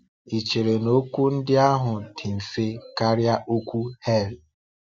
Ị chere na okwu ndị ahụ dị mfe karịa okwu ‘hell’?